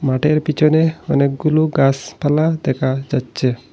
মাঠের পিছনে অনেকগুলো গাসপালা দেখা যাচ্ছে।